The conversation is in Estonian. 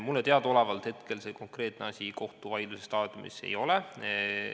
Mulle teadaolevalt hetkel see konkreetne asi kohtuvaidluse staadiumis ei ole.